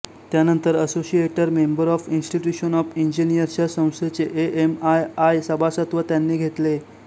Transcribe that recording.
त्यानंतर associate member of institution of engineers या संस्थेचे एएमआयआई सभासदत्व त्यांनी घेतले